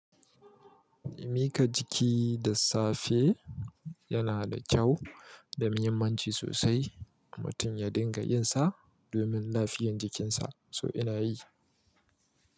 Mika jiki da safe yana da kyau da muhimmanci sosai. Mutum ya dinga yin sa domin lafiyar jikinsa so ina yi.